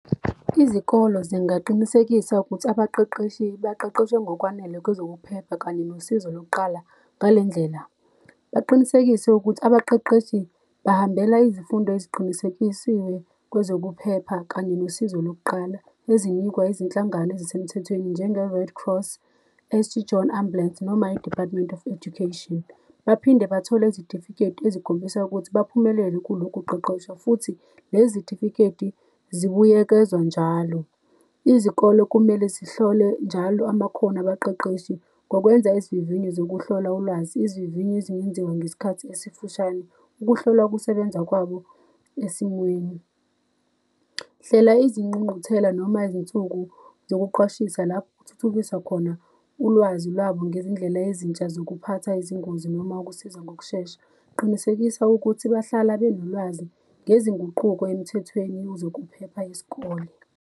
Izikolo zingaqinisekisa ukuthi abaqeqeshi baqeqeshwe ngokwanele kwezokuphepha kanye nosizo lokuqala ngale ndlela. Baqinisekise ukuthi abaqeqeshi bahambela izifundo eziqinisekisiwe kwezokuphepha kanye nosizo lokuqala ezinikwa ezinhlangano ezisemthethweni, njenge-Red Cross, St John Ambulance noma i-Department of Education. Baphinde bathole izitifiketi ezikhombisa ukuthi baphumelele kulokhuqeqeshwa futhi lezitifiketi zibuyekezwa njalo. Izikolo kumele zihlole njalo amakhono abaqeqeshi, ngokwenza izivivinyo zokuhlola ulwazi, izivivinyo ezingenziwa ngesikhathi esifushane, ukuhlola ukusebenza kwabo esimweni. Hlela izingqungquthela noma izinsuku zokuqwashisa lapho kuthuthukiswa khona ulwazi lwabo ngezindlela ezintsha zokuphatha izingozi, noma ukusiza ngokushesha. Qinisekisa ukuthi bahlala benolwazi ngezinguquko emthethweni wezokuphepha yesikole.